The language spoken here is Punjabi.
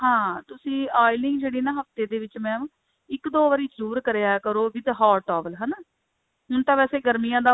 ਹਾਂ ਤੁਸੀ oiling ਜਿਹੜੀ ਹੈ ਨਾ ਹਫਤੇ ਵਿੱਚ mam ਇੱਕ ਦੋ ਵਾਰੀ ਜਰੂਰ ਕਰਿਆ ਕਰੋ with hot towel ਹਨਾ ਹੁਣ ਤਾਂ ਵੈਸੇ ਗਰਮੀਆਂ ਦਾ